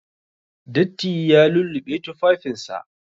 Datti ya lulluɓe tufafinsa.